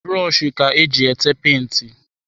Brọshi ka eji ete penti.